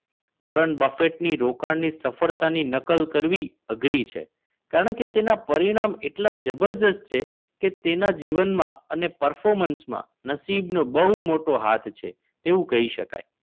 તેટલી તમારા જીવનમાં અમલમાં મૂકવી પણ સરળ બનશે વોરન બફેટ ની રોકાણની સફળતાની નકલ કરવી અઘરી છે કારણ કે તેના પરિણામ એટલા જબરદસ્ત છે કે તેના જીવનમાં અને performance માં નસીબ નો બહુ મોટો હાથ છે તેવું કહી શકાય